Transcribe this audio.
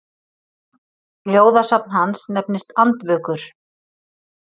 Ljóðasafn hans nefnist Andvökur.